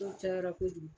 Dɔw cayara kojugu